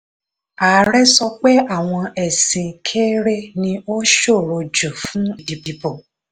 ààrẹ sọ pé àwọn ẹ̀sìn kéré ni ó ṣòro jù fún ìdìbò.